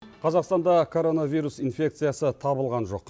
қазақстанда коронавирус инфекциясы табылған жоқ